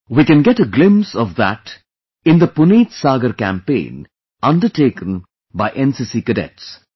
We can get a glimpse of that in the Puneet Sagar campaign undertaken by cadets